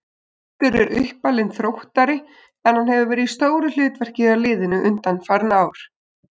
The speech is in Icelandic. Oddur er uppalinn Þróttari en hann hefur verið í stóru hlutverki hjá liðinu undanfarin ár.